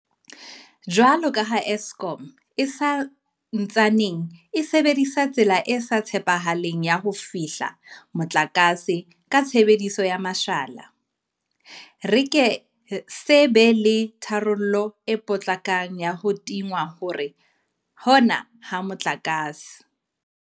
Jwalo ka ha Eskom e sa ntsaneng e sebedisa tsela e sa tshepahaleng ya ho fehla motlakase ka tshebediso ya mashala, re ke se be le tharollo e potlakang ya ho tingwa hona ha motlakase.